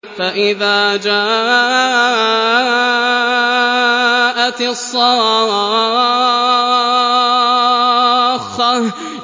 فَإِذَا جَاءَتِ الصَّاخَّةُ